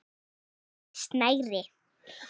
Til dæmis snæri.